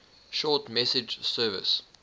short message service